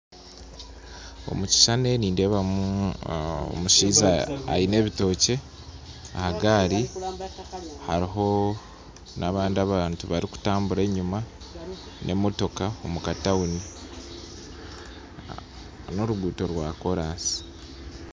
Omukishishani nindeebamu omushaija aine ebitookye ahagari hariho nabandi abantu barikutambura enyima na emotoka omukatawuni , norugundo rwa korasi.